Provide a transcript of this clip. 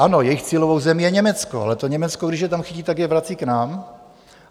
Ano, jejich cílovou zemí je Německo, ale to Německo, když je tam chytí, tak je vrací k nám.